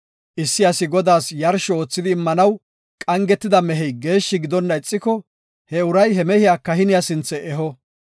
Issi asi Godaas yarsho oothidi immanaw gepida mehey geeshshi gidonna ixiko, he uray he mehiya kahiniya sinthe eho.